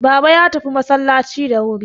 Baba ya tafi masallaci da wuri